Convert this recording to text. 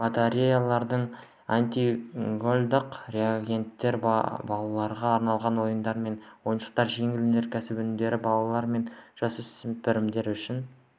батареялар антигололедтық реагенттер балаларға арналған ойындар мен ойыншықтар жеңіл өнеркәсіп өнімдері балалар мен жасөспірімдер үшін